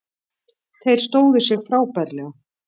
Þeir stóðu sig frábærlega